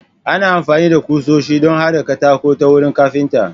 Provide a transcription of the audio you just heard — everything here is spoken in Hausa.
Ana amfani da kusoshi don haɗa katako ta wurin kafinta.